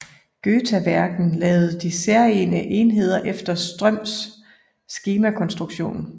Götaverken lavede de særegne enheder efter Ströms skemakonstruktion